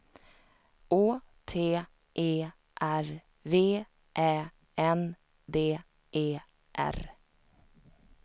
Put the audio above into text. Å T E R V Ä N D E R